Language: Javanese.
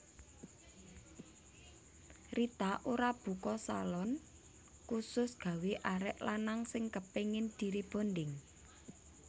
Rita Ora buka salon khusus gawe arek lanang sing kepingin di rebonding